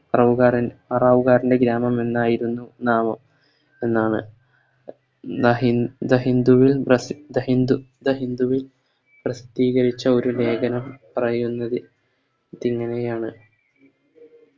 പറവുകാരൻ പറവുകാരൻറെ ഗ്രാമമെന്നായിരുന്നു നാമം എന്നാണ് The ഹി The hindu വിൽ പ്രസി The hindu the hindu വിൽ പ്രസിദ്ധീകരിച്ച ഒരു ലേഖനം പറയുന്നത് ഇതെങ്ങനെയാണ്